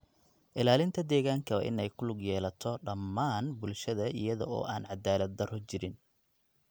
Ilaalinta deegaanka waa in ay ku lug yeelato dhammaan bulshada iyada oo aan caddaalad-darro jirin.